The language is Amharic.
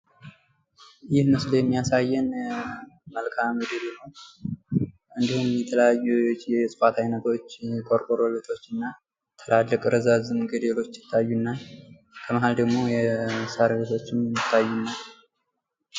ይህ ምስል የሚያሳየን መልከአምድርን ነው ፤ እንዲሁም የተለያዩ የስፓት አይነቶች ቆርቆሮ ቤቶች እና ትላልቅ፣ ረዛዝም ገደሎች ይታዩናል ፤ በመሃል ደሞ የሳር ቤቶች ይታየናል።